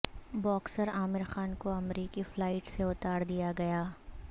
boxer Aamir Khan کو امریکی flight سے اتار دیا گیا